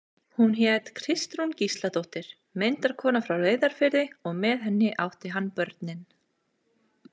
Hún hét Kristrún Gísladóttir, myndarkona frá Reyðarfirði, og með henni átti hann börnin.